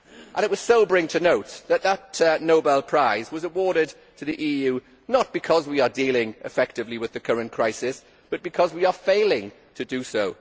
It was sobering to note that that Nobel Prize was awarded to the EU, not because we are dealing effectively with the current crisis, but because we are failing to do